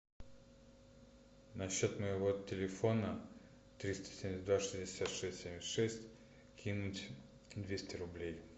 на счет моего телефона триста семьдесят два шестьдесят шесть семьдесят шесть кинуть двести рублей